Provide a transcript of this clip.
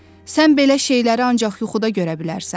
Sən belə şeyləri ancaq yuxuda görə bilərsən.